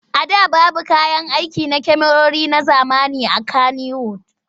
A da babu kayan aiki na kyamarori na zamani a Kanniwud.